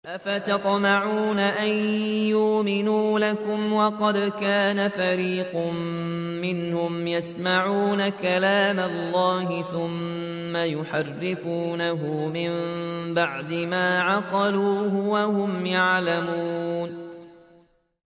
۞ أَفَتَطْمَعُونَ أَن يُؤْمِنُوا لَكُمْ وَقَدْ كَانَ فَرِيقٌ مِّنْهُمْ يَسْمَعُونَ كَلَامَ اللَّهِ ثُمَّ يُحَرِّفُونَهُ مِن بَعْدِ مَا عَقَلُوهُ وَهُمْ يَعْلَمُونَ